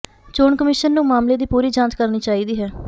ਚੋਣ ਕਮਿਸ਼ਨ ਨੂੰ ਮਾਮਲੇ ਦੀ ਪੂਰੀ ਜਾਂਚ ਕਰਨੀ ਚਾਹੀਦੀ ਹੈ